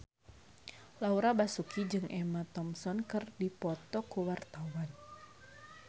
Laura Basuki jeung Emma Thompson keur dipoto ku wartawan